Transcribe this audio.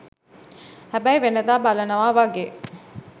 හැබැයි වෙනදා බලනවා වගේ